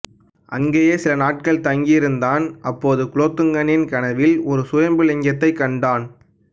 அங்கேயே சில நாட்கள் தங்கி இருந்தான் அப்போது குலோத்துங்கனின் கனவில் ஒரு சுயம்பு லிங்கத்தைக் கண்டான்